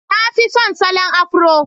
Na fi son salon Afro